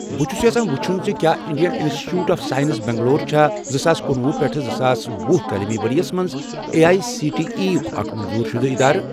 بہٕ چھُس یژھان وُچھُن زِ کیٛاہ Indian institute of science Bangalore چھا زٕساس کنُۄہُ پیٹھ زٕساس ۄہُ تعلیٖمی ورۍ یَس مَنٛز A I C T E یُک اکھ منظور شُدٕ اِدارٕ؟